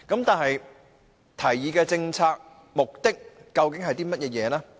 但是，提議的政策目的究竟是甚麼？